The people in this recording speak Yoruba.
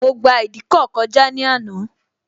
Mo gba ìdíkọ̀ kọjá ní àná